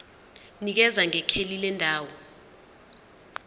nikeza ngekheli lendawo